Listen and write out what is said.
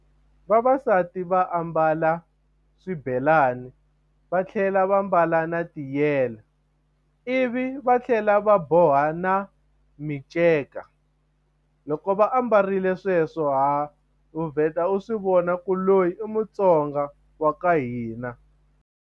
Vavasati va ambala swibelani va tlhela va mbala na tiyele ivi va tlhela va boha na miceka loko va ambarile sweswo ha u vheta u swi vona ku loyi i Mutsonga wa ka hina.